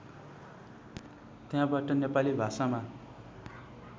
त्यहाँबाट नेपाली भाषामा